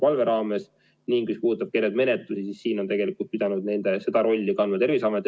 Mis puudutab menetlusi, siis on tegelikult pidanud seda rolli täitma Terviseamet.